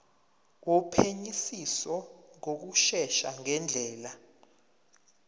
wophenyisiso ngokushesha ngendlela